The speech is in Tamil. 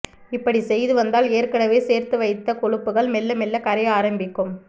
இப்படி செய்து வந்தால் ஏற்கனவே சேர்த்து வைத்த கொழுப்புகள் மெல்ல மெல்ல கரைய ஆரம்பிக்கும்